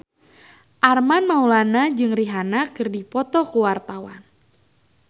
Armand Maulana jeung Rihanna keur dipoto ku wartawan